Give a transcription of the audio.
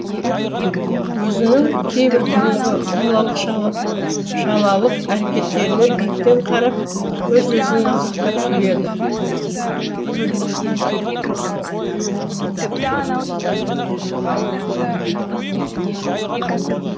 өзінің кейбір бұрынғы балалық шалалық әрекеттеріне биіктен қарап өз өзін мазақтап күледі